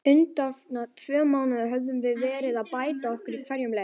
Undanfarna tvö mánuði höfum við verið að bæta okkur í hverjum leik.